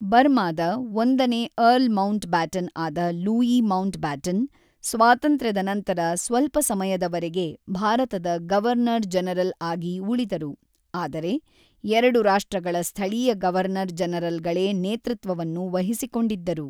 ಬರ್ಮಾದ ಒಂದನೇ earl Mountbatten ಆದ ಲೂಯೀ ಮೌಂಟ್‌ಬ್ಯಾಟನ್, ಸ್ವಾತಂತ್ರ್ಯದ ನಂತರ ಸ್ವಲ್ಪ ಸಮಯದವರೆಗೆ ಭಾರತದ ಗವರ್ನರ್-ಜನರಲ್ ಆಗಿ ಉಳಿದರು, ಆದರೆ ಎರಡು ರಾಷ್ಟ್ರಗಳ ಸ್ಥಳೀಯ ಗವರ್ನರ್-ಜನರಲ್‌ಗಳೇ ನೇತೃತ್ವವನ್ನು ವಹಿಸಿಕೊಂಡಿದ್ದರು.